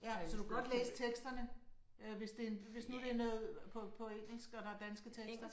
Ja så du kan godt læse teksterne øh hvis det hvis nu det er noget på på engelsk og der er danske tekster